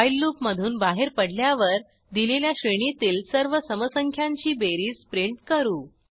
while लूपमधून बाहेर पडल्यावर दिलेल्या श्रेणीतील सर्व सम संख्यांची बेरीज प्रिंट करू